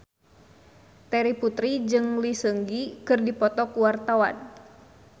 Terry Putri jeung Lee Seung Gi keur dipoto ku wartawan